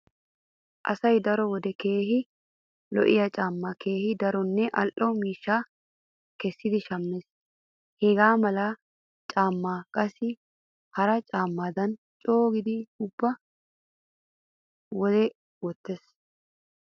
Asay daro wode keehi lo'iya caammaa keehi daronne al"o miishshaa kessidi shammees. Hegaa mala caammaa qassi hara caammaadan coogidi ubba wode wottenna.